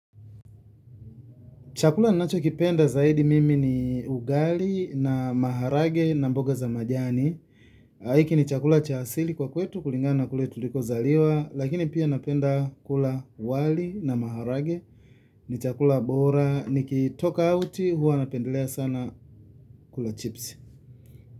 Chakula nacho kipenda zaidi mimi ni ugali na maharagwe na mboga za majani. Na hiki ni chakula cha asili kwa kwetu kulingana na kule tuliko zaliwa. Lakini pia napenda kula wali na maharagwe ni chakula bora ni kitoka auti hua napendelea sana kula chips.